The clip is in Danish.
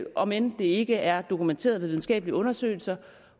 om end det ikke er dokumenteret i videnskabelige undersøgelser